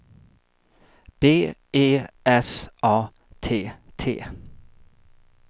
B E S A T T